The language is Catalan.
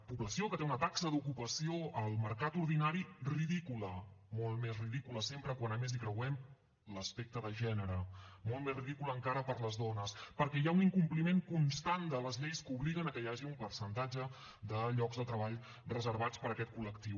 població que té una taxa d’ocupació al mercat ordinari ridícula molt més ridícula sempre quan a més hi creuem l’aspecte de gènere molt més ridícula encara per a les dones perquè hi ha un incompliment constant de les lleis que obliguen a que hi hagi un percentatge de llocs de treball reservats per a aquest col·lectiu